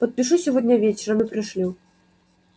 подпишу сегодня вечером и пришлю